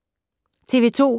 TV 2